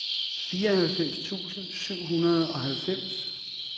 fireoghalvfems tusind syv hundrede og halvfems